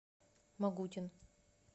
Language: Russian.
могутин